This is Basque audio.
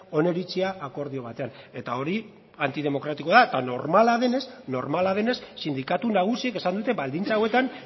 oniritzia akordio batean eta hori antidemokratikoa da eta normala denez normala denez sindikatu nagusiek esan dute baldintza hauetan